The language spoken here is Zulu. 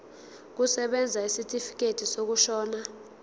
kusebenza isitifikedi sokushona